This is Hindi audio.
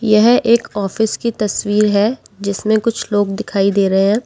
यह एक ऑफिस की तस्वीर है जिसमें कुछ लोग दिखाई दे रहे हैं।